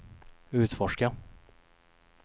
utforska